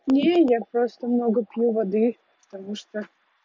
не я просто много пью воды потому что